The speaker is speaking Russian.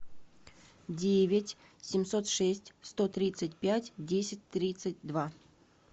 девять семьсот шесть сто тридцать пять десять тридцать два